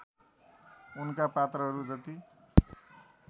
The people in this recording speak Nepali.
उनका पात्रहरू जति